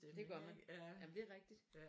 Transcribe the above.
Det gør man jamen det er rigtigt